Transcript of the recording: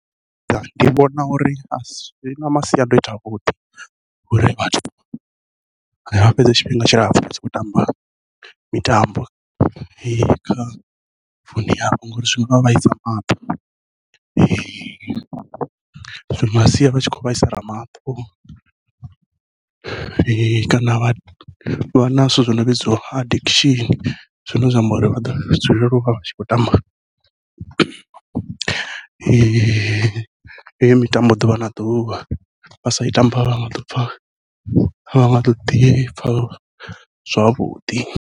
Ndi vhona uri a si zwi na masiandoitwa avhuḓi ngori vhathu vha fhedza tshifhinga tshilapfhu vha tshi khou tamba mitambo, kha founu yavho hone hafhu ngori zwivha vhaisa maṱo zwi nga sia vha tshi khou vhaisala maṱo kana vha vha na zwithu zwo no vhidzwa addiction zwine zwa amba uri vha ḓo dzulela uvha vha tshi khou tamba heyo mitambo ḓuvha na ḓuvha, vha sa i tamba a vha nga ḓopfha avha nga ḓo ḓipfha zwavhuḓi.